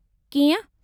कीअं ?